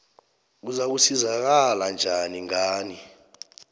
uzakusizakala njani ngani